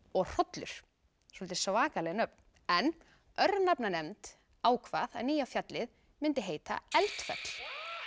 og hrollur soldið svakaleg nöfn en örnefnanefnd ákvað að nýja fjallið myndi heita Eldfell